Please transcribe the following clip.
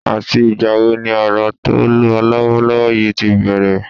Àti ìgbà wo ni Òrò tó ń lọ lọ́wọ́lọ́wọ́ yìí ti bẹ̀rẹ̀?